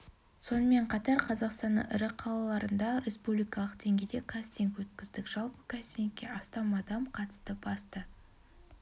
сонымен қатар қазақстанның ірі қалаларында республикалық деңгейде кастинг өткіздік жалпы кастингке астам адам қатысты басты